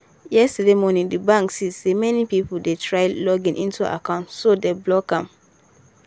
yesterday morning the bank see say many people dey try login into account so dem block am.